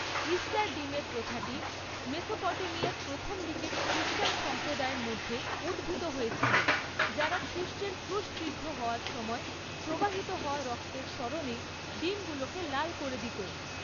Easter ডিমের প্রথাটি মেসোপটেমিয়ার প্রথম দিকের খ্রিষ্টান সম্প্রদায়ের মধ্যে উদ্ভূত হয়েছিল, যারা খ্রিষ্টের ক্রুশবিদ্ধ হওয়ার সময় প্রবাহিত হওয়া রক্তের স্মরণে ডিমগুলিকে লাল করে দিত।